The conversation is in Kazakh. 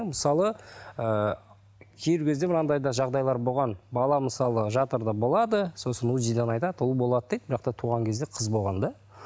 мысалы ыыы кейбір кезде бір андай да жағдайлар болған бала мысалы жатырда болады сосын узи ден айтады ұл болады дейді бірақ та туған кезде қыз болған да